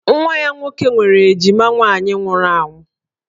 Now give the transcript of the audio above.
Nwa ya nwoke nwere ejima nwaanyị nwụrụ anwụ